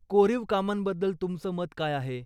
कोरीव कामांबद्दल तुमचं मत काय आहे?